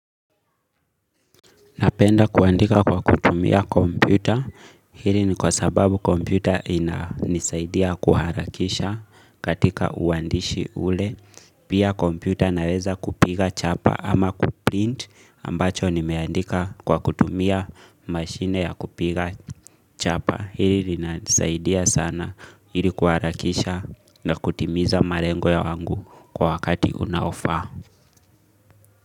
Napenda kuandika kwa kutumia kompyuta, hili ni kwa sababu kompyuta inanisaidia kuharakisha katika uandishi ule. Pia kompyuta naweza kupiga chapa ama kuprint ambacho nimeandika kwa kutumia mashine ya kupiga chapa. Hii linanisaidia sana ili kuharakisha na kutimiza malengo ya wangu kwa wakati unaofaa.